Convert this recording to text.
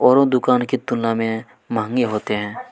औरों दुकान की तुलना में मांगे होते हैं।